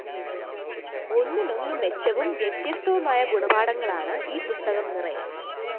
ഒന്നിനൊന്ന് മെച്ചവും വ്യത്യസ്തവുമായ ഗുണപാഠങ്ങളാണ് ഈ പുസ്തകം നിറയെ